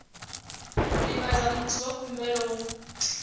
divhadza muiti wa khumbelo hu